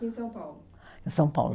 Em São Paulo. Em São Paulo.